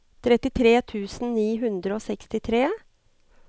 trettitre tusen ni hundre og sekstitre